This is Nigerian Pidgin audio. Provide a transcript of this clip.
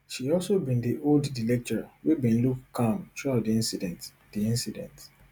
she also been dey hold di lecturer wey bin look calm throughout di incident di incident